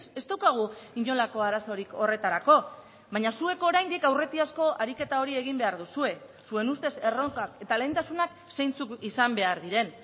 ez daukagu inolako arazorik horretarako baina zuek oraindik aurretiazko ariketa hori egin behar duzue zuen ustez erronkak eta lehentasunak zeintzuk izan behar diren